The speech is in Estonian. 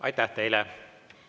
Aitäh teile!